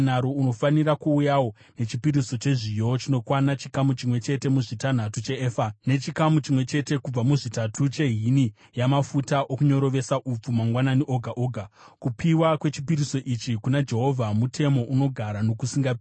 Unofanira kuuyawo nechipiriso chezviyo chinokwana chikamu chimwe chete muzvitanhatu cheefa, nechikamu chimwe chete kubva muzvitatu chehini yamafuta okunyorovesa upfu, mangwanani oga oga. Kupiwa kwechipiriso ichi kuna Jehovha, mutemo unogara nokusingaperi.